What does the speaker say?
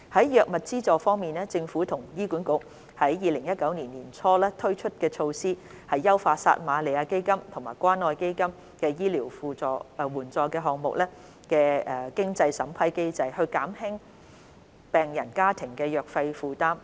藥物資助方面，政府和醫院管理局於2019年年初推出措施優化撒瑪利亞基金和關愛基金醫療援助項目的經濟審查機制，以減輕病人家庭的藥費負擔。